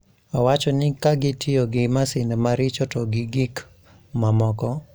Owacho ni ka gitiyo gi masinde maricho to gi gik mamoko